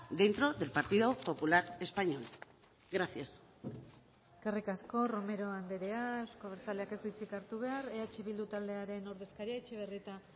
dentro del partido popular español gracias eskerrik asko romero andrea euzko abertzaleak ez du hitzik hartu behar eh bildu taldearen ordezkaria etxebarrieta